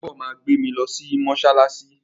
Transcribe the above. Dèbó máa gbé mi lọ sí mọ́ṣáláṣí